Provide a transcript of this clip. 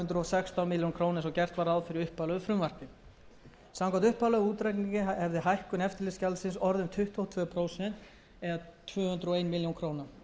sextán milljónum króna eins og gert var ráð fyrir í upphaflegu frumvarpi samkvæmt upphaflegum útreikningi hefði hækkun eftirlitsgjaldsins orðið um tuttugu og tvö prósent eða tvö hundruð og eina milljón króna